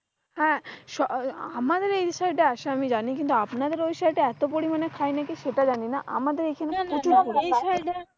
হ্যাঁ আমাদের এই side এ আসে আমি জানি, আপনাদের ঐ side এ এত পরিমানে খায় কিনা সেটা জানি না।